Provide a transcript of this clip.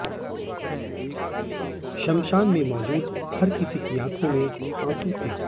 शमशान में मौजूद हर किसी की आंखों में आंसू थे